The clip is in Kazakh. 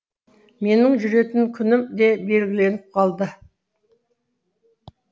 менің жүретін күнім де белгіленіп қалды